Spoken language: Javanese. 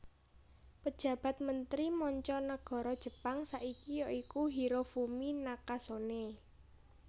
Pejabat Mentri Manca Nagara Jepang saiki ya iku Hirofumi Nakasone